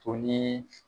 To ni